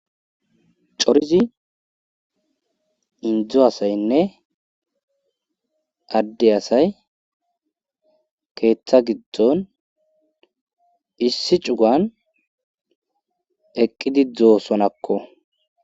Corizi indzo asaynne adde asay keeththa giddon issi cugan eqqidi dzoosonakko.